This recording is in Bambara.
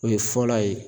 O ye fɔlɔ ye